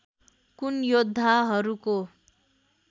कुन योद्धाहरूको